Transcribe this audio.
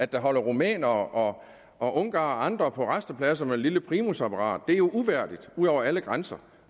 der holder rumænere og ungarere og andre på rastepladserne med et lille primusapparat det er jo uværdigt ud over alle grænser